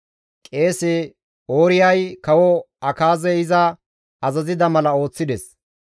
Qeese Ooriyay kawo Akaazey iza azazida mala ooththides.